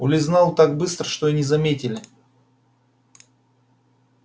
улизнул так быстро что и не заметили